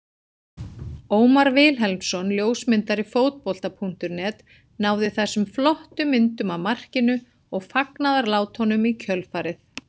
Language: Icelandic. Ómar Vilhelmsson ljósmyndari Fótbolta.net náði þessum flottu myndum af markinu og fagnaðarlátunum í kjölfarið.